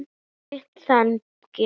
Þýtt þannig